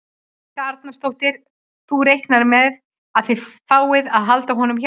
Helga Arnardóttir: Þú reiknar með að þið fáið að halda honum hjá ykkur?